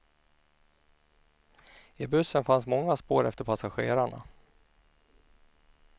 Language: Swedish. I bussen fanns många spår efter passagerarna.